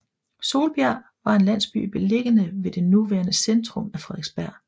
Solbjerg var en landsby beliggende ved det nuværende centrum af Frederiksberg